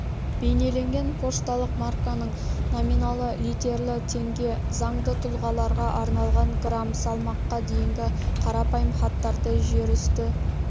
бейнеленген пошталық марканың номиналы литерлі теңге заңды тұлғаларға арналған грамм салмаққа дейінгі қарапайым хаттарды жерүсті